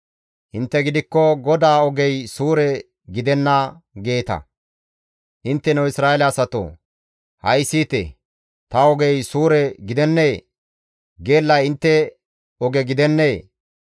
«Intte gidikko, ‹GODAA ogey suure gidenna› geeta. Intteno Isra7eele asatoo! Ha7i siyite! Ta ogey suure gidennee? Geellay intte oge gidennee?